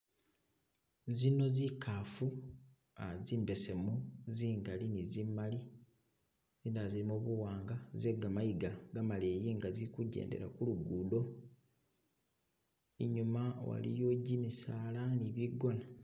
Zino zikaafu ah zimbesemu zingali ne zimali ina zilimo buwanga zegamayiga gamaleyi nga zili kujendela ku lugudo , inyuma waliyo gimisaala ne bigona.